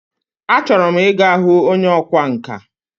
A chọrọ m Ị ga hụ onye ọkwa nka.